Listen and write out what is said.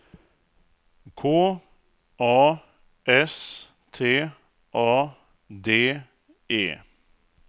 K A S T A D E